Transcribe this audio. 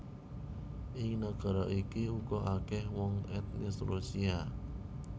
Ing nagara iki uga akèh wong etnis Rusia